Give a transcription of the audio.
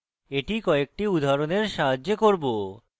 এটি কয়েকটি উদাহরণের সাহায্যে করব